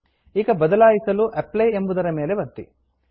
ಈಗ ಬದಲಾಯಿಸಲು Applyಅಪ್ಲೈ ಎಂಬುದರ ಮೇಲೆ ಒತ್ತಿ